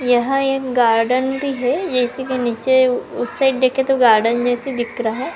यहां एक गार्डन भी है यह इसी के नीचे उस साइड देखें तो गार्डन जैसा दिख रहा है।